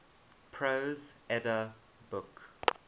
prose edda book